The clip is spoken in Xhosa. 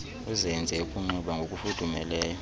uzenze ukunxiba ngokufudumeleyo